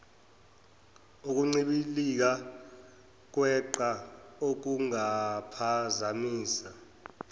ekuncibilikeni kweqhwa okungaphazamisa